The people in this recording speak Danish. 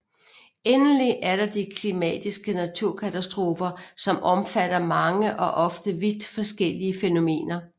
Endelig er der de klimatiske naturkatastrofer som omfatter mange og ofte vidt forskellige fænomener